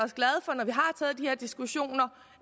diskussioner